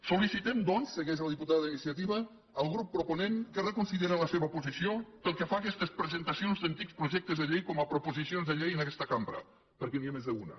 sol·licitem doncs segueix la diputada d’iniciativa al grup proponent que reconsideri la seva posició pel que fa a aquestes presentacions d’antics projectes de llei com a proposicions de llei en aquesta cambra perquè n’hi ha més d’una